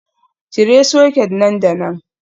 Cire soket nan da nan.